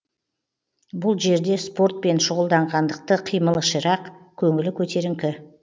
бұл жерде спортпен шұғылданғандықтан қимылы ширақ көңілі көтеріңкі